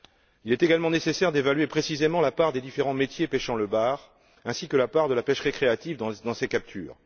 Il est également nécessaire d'évaluer précisément la part des différents métiers pêchant le bar ainsi que la part de la pêche récréative dans ces captures.